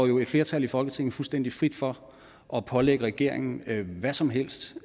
jo et flertal i folketinget fuldstændig frit for at pålægge regeringen hvad som helst